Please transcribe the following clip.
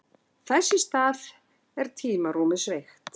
Þess í stað er tímarúmið sveigt.